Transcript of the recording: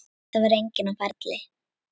Það var enginn á ferli.